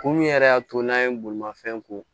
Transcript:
Kun min yɛrɛ y'a to n'an ye bolimafɛn ko